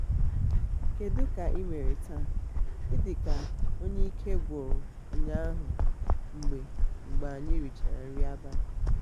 kedu ka imere taa? ị dị ka onye ike gwụrụ ụnyaahụ mgbe mgbe anyị rịchara nri abalị.